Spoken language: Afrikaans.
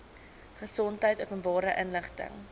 gesondheid openbare inligting